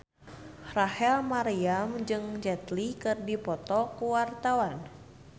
Rachel Maryam jeung Jet Li keur dipoto ku wartawan